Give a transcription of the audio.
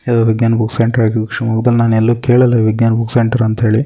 ಇದು Vigyan book centre ಆಗಿರ್ಬೇಕು ಶಿಮೊಗ್ಗದಲಿ ನಾನು ಎಲ್ಲು ಕೇಳಿಲ್ಲಾ ವಿಜ್ಞಾನ್ ಬುಕ್ ಸೆಂಟರ್ ಅಂತ ಹೇಳಿ.